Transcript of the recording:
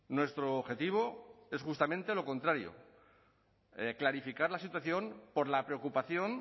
nuestro objetivo es justamente lo contrario clarificar la situación por la preocupación